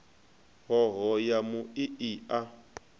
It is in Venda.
hoho ya mui i a